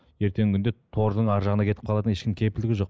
ертеңгі күнде тордың арғы жағына кетіп қалатын ешкім кепілдік жоқ